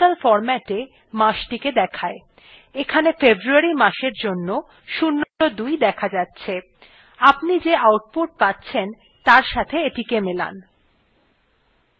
এইটি numerical ফরম্যাটে matchthe দেয় এখানে february মাসের জন্য ০২ দেখা যাচ্ছে আপনি যে output পাচ্ছেন তার সাথে এটিকে মেলান